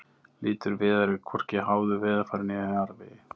Litur viðar er hvorki háður veðurfari né jarðvegi.